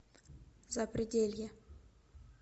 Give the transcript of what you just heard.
запределье